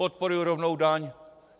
Podporuji rovnou daň!